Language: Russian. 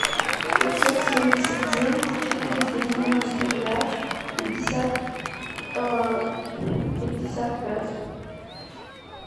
пятьсот семьдесят девять четыреста девяносто пять пятьдесят пятьдесят пять